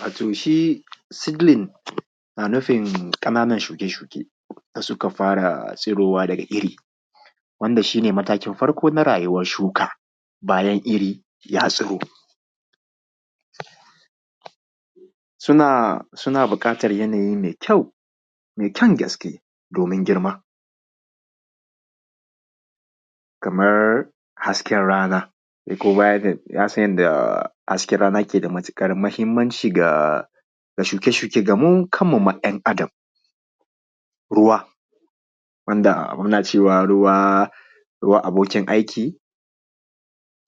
wato shi seedling yana nufin ƙananun shuke shuke da suka fara tsirowa daga iri wanda shi ne matakin farko na rayuwar shuka bayan iri ya tsiro suna buƙatan yanayi mai kyau mai kyan gaske domin girma kamar hasken rana kuma baya ga haka ya san yadda hasken rana yake da matuƙar mahimmanci ga shuke shuke ga mu mu kanmu ɗan adam ruwa wanda muna cewa ruwa abokin aiki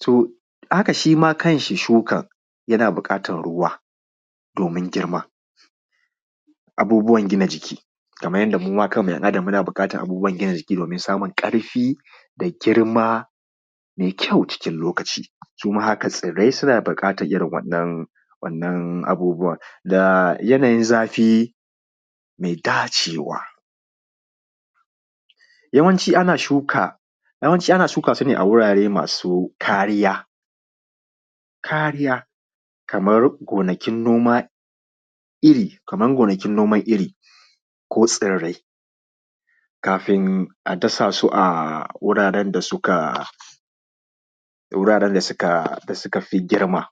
to haka ma shi ma kan shi shuka yana buƙatan ruwa domin girma abubuwan gina jiki kamar yanda muma kanmu ‘yan adam muna buƙatan abubuwan gina jiki domin samun ƙarfi da girma mai kyau cikin lokaci suma haka tsirai suna buƙatan wa’innan abubuwa da yanayin zafi mai dacewa yawanci ana shuka su a wurare masu kariya kariya kamar gonakin nomar iri ko tsirrai kafin a dasa su a guraran da suka fi girma